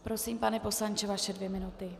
Prosím, pane poslanče, vaše dvě minuty.